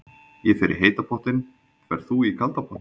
Ég fer í heita pottinn. Ferð þú í kalda pottinn?